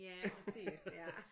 Ja lige præcis ja